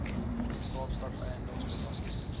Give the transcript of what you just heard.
kaapstad eiendoms belasting